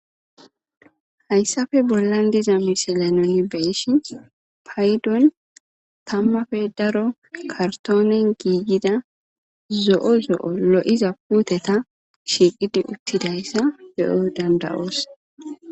Hayssafe bollan diza misilanoni beshin paydon tammafe daro kartoonen giigida zo7o zo7o lo7iza puuteta shiiqidi uttidayssa be7o dandawoos.